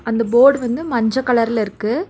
அந்த போர்டு வந்து மஞ்ச கலர்ல இருக்கு.